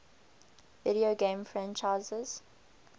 video game franchises